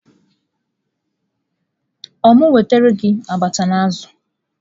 Ọ wu m wetara gị abacha na azu?